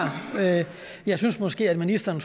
jeg synes måske at ministeren